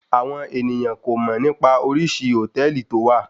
Àwọn ènìyàn kò mọ̀ nípa oríṣi hòtẹ́ẹ̀lì tó wà.